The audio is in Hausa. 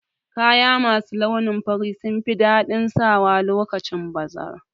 Kaya masu launin fari sunfi daɗin sawa lokacin bazara